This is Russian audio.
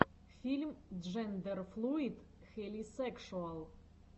фильм джендерфлуид хелисекшуал